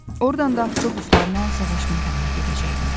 Oradan da avtobuslarla savaş meydanına gedəcəkdilər.